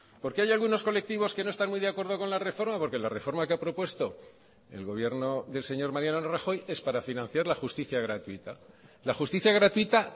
porque hay algunos colectivos que no están muy de acuerdo con la reforma porque la reforma que ha propuesto el gobierno del señor mariano rajoy es para financiar la justicia gratuita la justicia gratuita